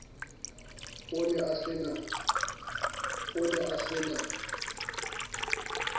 a ne a se na